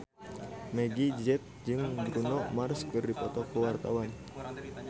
Meggie Z jeung Bruno Mars keur dipoto ku wartawan